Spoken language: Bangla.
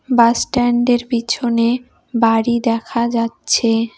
বাসস্ট্যান্ডের পিছনে বাড়ি দেখা যাচ্ছে।